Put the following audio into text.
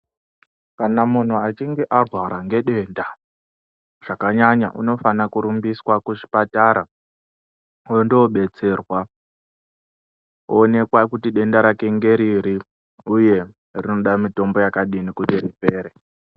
Kana munhu achinge arwara ngedenda zvakanyanya, unofana kurumbiswa kuzvipatara ondobetserwa, oonekwa kuti denda rake ngeriri uye rinoda mitombo yakadini kuti ripere.